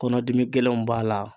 Kɔnɔdimi gɛlɛnw b'a la